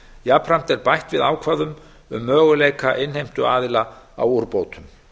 jafnframt er bætt við ákvæðum um möguleika innheimtuaðila á úrbótum